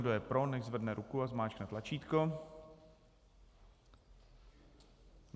Kdo je pro, nechť zvedne ruku a zmáčkne tlačítko.